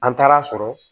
An taara a sɔrɔ